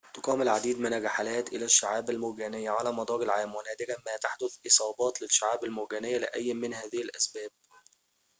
تُقام العديد من الرحلات إلى الشعاب المرجانية على مدار العام ونادراً ما تحدث إصابات للشعاب المرجانية لأي من هذه الأسباب